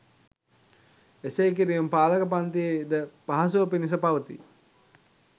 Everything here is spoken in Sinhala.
එසේ කිරීම පාලක පන්තියේ ද පහසුව පිණිස පවතී.